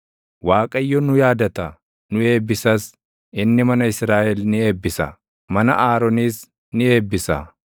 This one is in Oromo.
Waaqayyo nu yaadata; nu eebbisas; inni mana Israaʼel ni eebbisa; mana Aroonis ni eebbisa;